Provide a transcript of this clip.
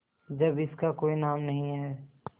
जब इसका कोई नाम नहीं है